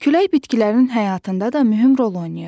Külək bitkilərin həyatında da mühüm rol oynayır.